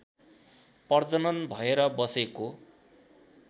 प्रजनन भएर बसेको